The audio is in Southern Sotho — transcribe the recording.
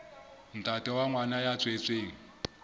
ntate wa ngwana ya tswetsweng